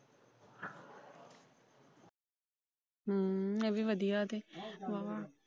ਹੂ ਇਹੀ ਵਧੀਆ ਏ ਤੇ ਵਾਹਵਾ।